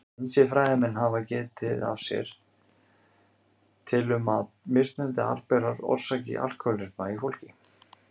Ýmsir fræðimenn hafa getið sér til um að mismunandi arfberar orsaki alkóhólisma í fólki.